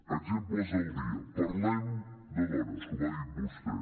exemples del dia parlem de dones com ha dit vostè